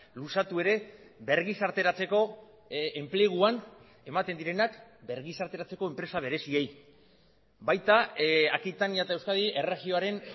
luzatu ere bergizarteratzeko enpleguan ematen direnak bergizarteratzeko enpresa bereziei baita aquitania eta euskadi erregioaren